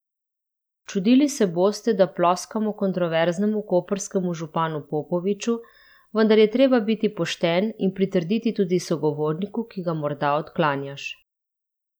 Čudili se boste, da ploskamo kontroverznemu koprskemu županu Popoviču, vendar je treba biti pošten in pritrditi tudi sogovorniku, ki ga morda odklanjaš.